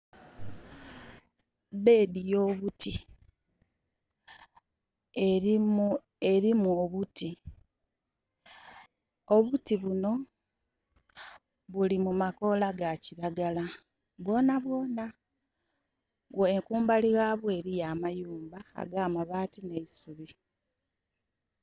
Beedi yo buti, erimu obuti. Obuti buno buli mu makoola ga kiragala bwonabwona. Kumbali yabwo eriyo amayumba aga mabaati ne isubi